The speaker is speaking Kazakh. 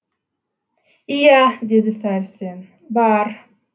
иә деді сәрсен бар